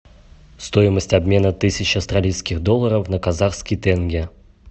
стоимость обмена тысячи австралийских долларов на казахский тенге